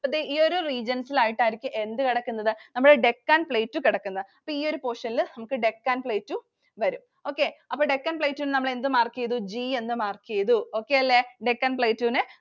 ഈ ഒരു regions ലായിട്ട് ആയിരിക്കും എന്ത് കിടക്കുന്നത്? നമ്മുടെ Deccan Plateau കിടക്കുന്നത്. ഈ ഒരു portion ൽ നമുക്ക് Deccan Plateau വരും. Okay അപ്പോ Deccan Plateau നെ നമ്മൾ എന്ത് mark ചെയ്തു? G എന്ന് mark ചെയ്തു. Okay അല്ലെ? Deccan Plateau നെ